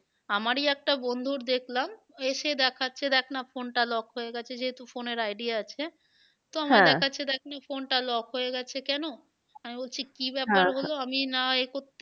আমারই একটা বন্ধুর দেখলাম এসে দেখাচ্ছে দেখ না phone টা lock হয়ে গিয়েছে যেহেতু phone এর ID আছে দেখ না phone টা lock হয়ে গেছে কেন? আমি বলছি কি আমি না এ করতে